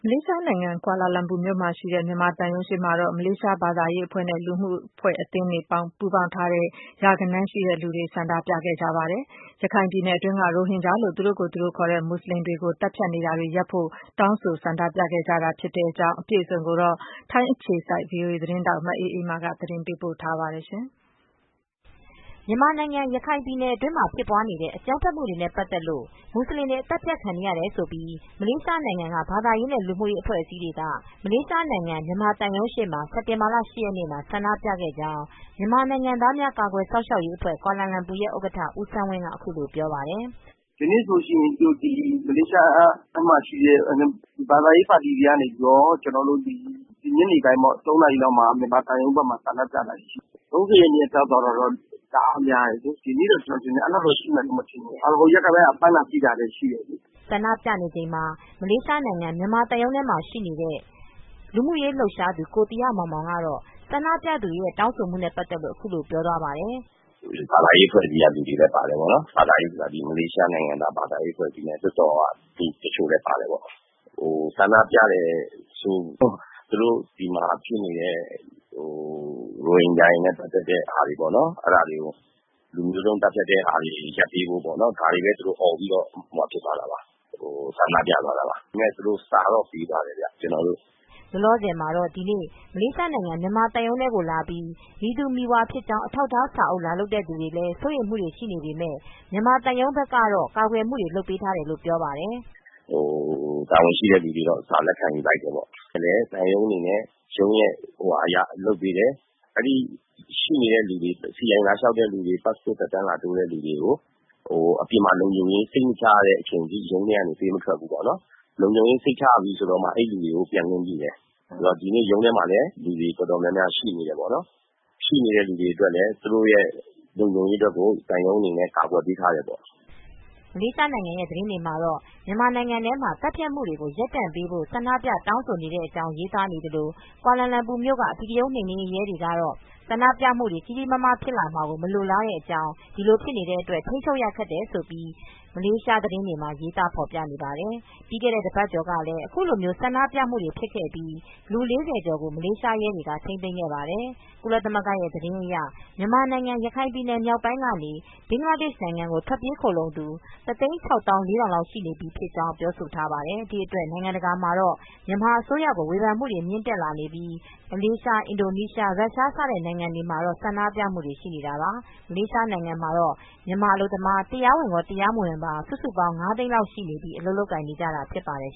လေးရှားနိုင်ငံ ကွာလာလမ်ပူမြို့က မလေးရှားနိုင်ငံဆိုင်ရာ မြန်မာသံရုံးရှေ့မှာ မလေးရှားဘာသာရေးအဖွဲ့တွေနဲ့ လူမှုအသင်းတွေက ပူးပေါင်းပြိး အင်အားရာဂဏန်းလောက်ဆန္ဒပြခဲ့ကြပါတယ်။ အသေးစိတ် ဗွီအိုအေ ထိုင်းအခြေစိုက်သတင်းထောက် မအေးမာက သတင်းပေးပို့ထားပါတယ်။ မြန်မာနိုင်ငံ ရခိုင်ပြည်နယ်မှာဖြစ်ပွားနေတဲ့ အကြမ်းဖက်မူတွေနဲ့ပတ်သက်လို့ မူဆလင်တွေ သတ်ဖြတ်ခံနေရတယ်ဆိုပြီး မလေးရှားနိုင်ငံက ဘာသာရေးနဲ့ လူမူရေးအဖွဲအစည်းတွေက မလေးရှားနိုင်ငံမြန်မာသံရုံးရှေ့မှာ စက်တင်ဘာလ ၈ ရက်နေ့မှာ ဆန္ဒပြခဲ့ကြောင်းမြန်မာနိုင်ငံသားများကာကွယ်စောင့်ရှောက်ရေးအဖွဲ့ ကွာလာလမ်ပူရဲ့ဥက္ကဋ္ဌ ဦးဆန်းဝင်းက ပြောပြပါတယ်။ "ဒီနေ့ဆိုရင် မလေးရှားမှာရှိတဲ့ ဘာသာရေး ပါတီတွေကနေ ညနေပိုင်း ၃နာရီလောက်မှာ မြန်မာသံရုံးဘက်မှာ ဆန္ဒပြတယ် ။ ၃၀ရက်နေ့က ပြသွားတာတော့ တအားများတယ်။ ဒီနေ့တော့ ကျနော်ထင်တယ် အဲ့လောက်တော့ ရှိမယ်မထင်ဘူး။ ဟိုရက်ပိုင်းက ဖမ်းတာဆီးတာလည်း ရှိတယ်လေ။" ဆန္ဒြုပနေချိန်မှာ မလေးရှားနိုင်ငံမြန်မာသံရုံးထဲမှာ ရှိနေတဲ့ လူမူရေးလှုပ်ရှားသူ ကိုသီဟမောင်မောင်က ဆန္ဒပြသူတွေရဲ့တောင်းဆိုမူတွေနဲ့ ပတ်သက်လို့ ပြောပြပါတယ်။ " ဘာသာရေးအဖွဲ့အစည်းဘက်က လူတွေလည်းပါတယ် ဘာသာရေးဆိုတာ မလေးရှားနိုင်ငံက အဖွဲ့အစည်းနဲ့လွှတ်တော်က လူတချို့လည်းပါတယ်ပေါ့။ ဆန္ဒပြတာက သူတို့က ဒီမှာဖြစ်နေတဲ့ ရိုဟင်ဂျာတွေနဲ့ပတ်သက်တဲ့ဟာတွေကို လူမျိုးသုန်း သတ်ဖြတ်မှုကို ရပ်ပေးဖို့ပေါ့ ဒါတွေကိုပဲ သူတို့အော်ပြီးတော့ ဆန္ဒပြသွားတာပါ။ ဒါပေမဲ့ သူတို့စာတော့ ပေးသွားတယ်ဗျ။" လောလောဆယ် ဒီနေ့ မလေးရှားနိုင်ငံမြန်မာသံရုံးထဲကိုလာပြီး မည်သူမည်ဝါဖြစ်ကြောင်း အထောက်အထားစာအုပ်လာလုပ်တဲ့သူတွေလည်း စိုးရိမ်မူတွေရှိပေမဲ့ မြန်မာသံရုံးဘက်ကတော့ ကာကွယ်မူတွေလုပ်ပေးထားတယ်လို့ပြောပါတယ်။ "တာဝန်ရှိသူတွေက စာလက်ခံယူလိုက်တယ်ပေါ့။ သံရုံးအနေနဲ့က ရှိနေတဲ့သူတွေ CI လာလျှောက်တဲ့သူတွေ ပတ်စပို့သက်တမ်းလာတိုးတဲ့သူတွေကို အပြင်မှာ လုံခြုံရေး စိတ်မချရတဲ့အချိန်အထိ ရုံးထဲကနေ ပေးမထွက်ဘူးပေါ့။ လုံခြုံရေးစိတ်ချရပြီဆိုတော့မှ အဲ့လူတွေကို ပြန်ခွင့်ပြုတယ်။ ဒီနေ့က ရုံးထဲမှာလည်း လူတော်တော်များများရှိနေတယ် ရှိနေတဲ့သူတွေအတွက်လည်း သူတို့အတွက် လုံခြုံရေးအတွက်ကို သံရုံးအနေနဲ့ ကာကွယ်ပေးထားတယ်ပေါ့။" မလေးရှားနိုင်ငံ သတင်းတွေထဲမှာတော့ မြန်မာနိုင်ငံထဲမှာ သတ်ဖြတ်နေမူတွေကို ရပ်တန့်ပေးဖို့ ဆန္ဒပြတောင်းဆိုကြတဲ့ အကြောင်းရေးသားနေသလို ကွာလာလမ်ပူက အဓိကရုန်းနှိမ်နင်းရေးရဲတွေကတော့ ဆန္ဒပြမူတွေကြီးကြီးမားမားဖြစ် လာတာကို မလိုလားတဲ့အကြောင်း ဒီလိုဖြစ်နေတဲ့အတွက် ထိန်းချုပ်ရခက်တယ်လို့ ရေးသားဖော်ပြနေပါတယ်။ ပြီးခဲ့တဲ့ တပတ်ကျော်ကလည်း အခုလိုမျိုးဆန္ဒြပမူတွေဖြစ်ခဲ့ပြီး လူ၄၀ကျော်ကို မလေးရှားရဲတွေက ထိန်းသိမ်းခဲ့ပါတယ် ။ ကုလသမဂ္ဂသတင်းအရ မြန်မာနိုင်ငံရခိုင်မြောက်ပိုင်းကနေ ဘင်္ဂလားဒေ့ရှ်နိုင်ငံကို ခိုလှုံထွက်ပြေးသူ ၁၆၄၀၀၀လောက် ရှိနေပြီး ဖြစ်ကြောင်း ပြောဆိုထားပါတယ်။ ဒီအတွက်နိုင်ငံတကာမှာတော့ မြန်မာအစိုးရကို ဝေဖန်မူတွေမြင့်တက်လာပြီး မလေးရှား အင်ဒိုနီးရှား ရုရှား စတဲ့နိုင်ငံတွေမှာ ဆန္ဒပြမူတွေ ရှိနေတာပါ။ မလေးရှားနိုင်ငံမှာတော့ မြန်မာအလုပ်သမား တွေ တရားဝင်ရော၊ တရားမဝင်ပါ စုစုပေါင်း ၅သိန်းလောက်ရှိနေပြီး အလုပ်လုပ်ကိုင်နေကြတာဖြစ်ပါတယ်